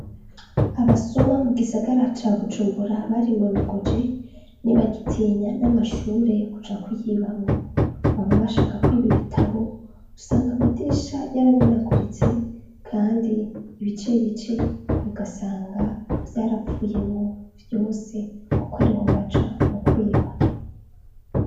Abasuma mu gisagara ca bujumbura bari monogoje ni bagitinya n'amashure kuja kuyibamwo baba bashakako ibi bitabo gusanga amadisha y'aramenaguritse, kandi ibice bice bugasanga vyarapfuyemo vyose, kuko ariho baca mukwiba.